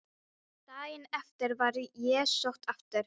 Kirkjan hafði fyllst af syrgjandi fólki víða að úr dalnum.